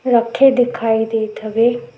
रखे दिखाई दत हवे।